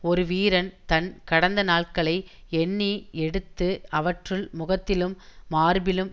ஒரு வீரன் தன் கடந்த நாள்களை எண்ணி எடுத்து அவற்றுள் முகத்திலும் மார்பிலும்